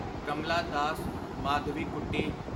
Kamla Das Madhavikutty